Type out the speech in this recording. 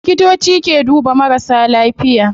Likitoci ke duba marasa lafiya